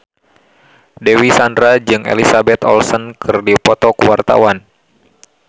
Dewi Sandra jeung Elizabeth Olsen keur dipoto ku wartawan